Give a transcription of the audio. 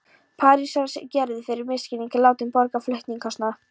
Parísar er Gerður fyrir misskilning látin borga flutningskostnað.